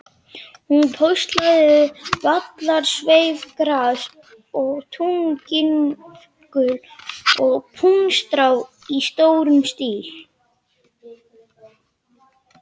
Hún póstlagði vallarsveifgras og túnvingul og puntstrá í stórum stíl.